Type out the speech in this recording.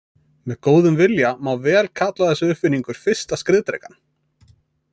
Með góðum vilja má vel kalla þessa uppfinningu fyrsta skriðdrekann.